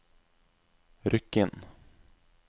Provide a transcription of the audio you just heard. Rykkinn